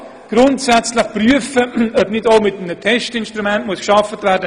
Man kann grundsätzlich prüfen, ob man mit einem Test arbeiten sollte.